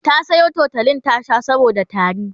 ta Sayo tutolin ta Sha saboda tari